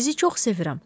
Sizi çox sevirəm.